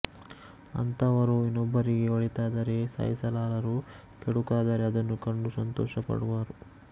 ಅಂಥವರು ಇನ್ನೊಬ್ಬರಿಗೆ ಒಳಿತಾದರೆ ಸಹಿಸಲಾರರು ಕೆಡುಕಾದರೆ ಅದನ್ನು ಕಂಡು ಸಂತೋಷಪಡುವರು